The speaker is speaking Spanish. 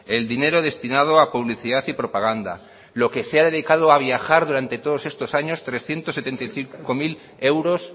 el dinero destinado a publicidad y propaganda lo que se ha dedicado a viajar durante todos estos años trescientos setenta y cinco mil euros